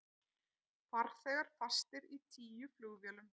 Farþegar fastir í tíu flugvélum